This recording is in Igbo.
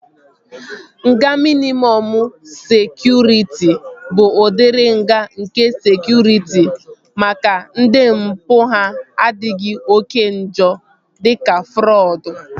Nga mịnịmọm sekụritị bụ udiri nga nke sekụritị maka ndị mpụ ha adịghị oké njọ dịka frọdụ